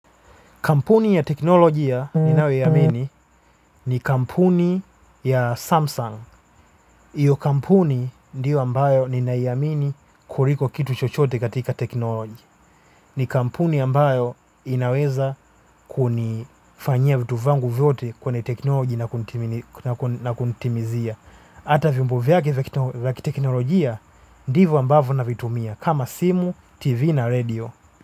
Kampuni ya teknolojia ni nayoihamini ni kampuni ya Samsung. hIyo kampuni ndiyo ambayo ninaiamini kuliko kitu chochote katika teknolojia. Ni kampuni ambayo inaweza kunifanyia vitu vyangu vyote kwenye teknolojia na kunitimizia. Ata vyombo vyake vya teknolojia ndivyo ambavyo na vitumia. Kama simu, tv na radio.